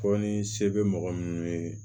Fɔ ni se bɛ mɔgɔ minnu ye